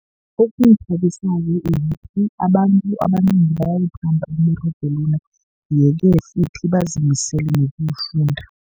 Okungithabisako ukuthi abantu abanengi bayawuthanda umberego lona, ye-ke futhi bazimisele nokuwufunda.